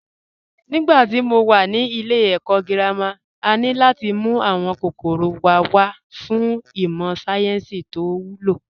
Nígbà tí mo wà ní ilé ẹ̀kọ́ girama, a ní láti mú àwọn kòkòrò wa wá fún ìmọ̀ sáyẹ́ǹsì tó wúlò